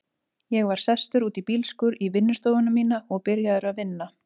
Ég var sestur út í bílskúr, í vinnustofuna mína, og byrjaður að vinna.